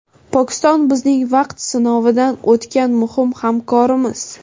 Pokiston bizning vaqt sinovidan o‘tgan muhim hamkorimiz.